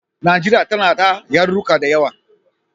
Najeriya tana ta yaruruka da yawa.